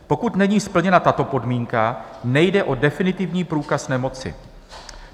Pokud není splněna tato podmínka, nejde o definitivní průkaz nemoci.